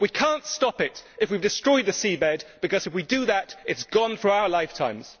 We cannot stop it if we have destroyed the seabed, because if we do that it is gone for our lifetimes.